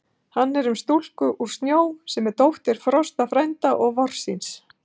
Hann er um stúlku úr snjó, sem er dóttir Frosta frænda og Vorsins.